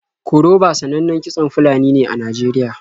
Koroba sanannan kitson Fulani ne a Najeriya.